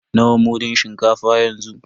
Nawa mudun shinkafa yanzu?